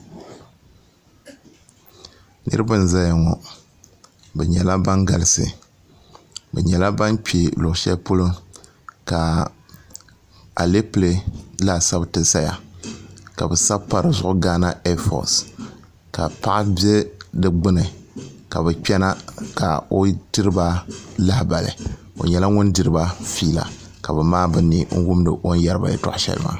niraba n ʒɛya ŋo bi nyɛla ban galisi bi nyɛla ban kpɛ luɣu shɛli polo ka alɛpilɛ laasabu ti ʒɛya ka bi sabi pa dizuɣu gaana ɛɛfos ka paɣa n ʒɛ di gbuni ka bi kpɛna ka o tiriba lahabali o nyɛla ŋun diriba fiila ka bi maai bi ni wundi o ni yɛriba yɛltɔɣa shɛli maa